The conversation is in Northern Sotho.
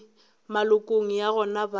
malokong a yona go ba